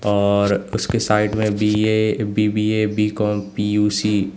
और उसके साइड में बी_ए बी_बी_ए बी_कॉम पी_यू_सी --